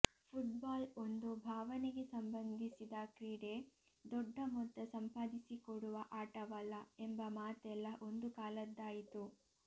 football ಒಂದು ಭಾವನೆಗೆ ಸಂಬಂಧಿಸಿದ ಕ್ರೀಡೆ ದೊಡ್ಡ ಮೊತ್ತ ಸಂಪಾದಿಸಿಕೊಡುವ ಆಟವಲ್ಲ ಎಂಬ ಮಾತೆಲ್ಲ ಒಂದು ಕಾಲದ್ದಾಯಿತು